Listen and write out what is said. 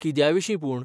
कित्याविशीं पूण?